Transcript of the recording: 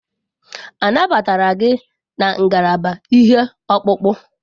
A nabatara gị na ngalaba ihe ọkpụkpụ?